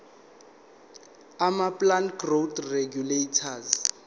amaplant growth regulators